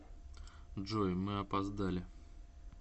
джой мы опоздали